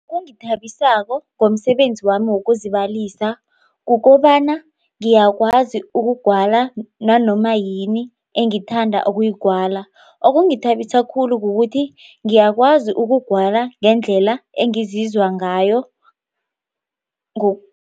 Okungithabisako ngomsebenzi wami wokuzibalisa kukobana ngiyakwazi ukugwala nanoma yini engithanda okuyigwala okungithabisa khulu kukuthi ngiyakwazi ukugwala ngendlela engizizwa ngayo